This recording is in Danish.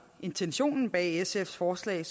intentionen bag sfs forslag